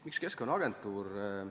Miks Keskkonnaagentuur?